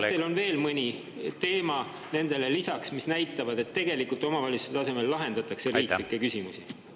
Kas teil on veel mõni teema nendele lisaks, mis näitab, et omavalitsuste tasemel tegelikult lahendatakse riiklikke küsimusi?